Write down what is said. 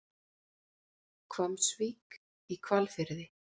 Hvammsvík í Hvalfirði.